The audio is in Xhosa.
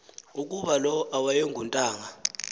ukuba lo awuyontanga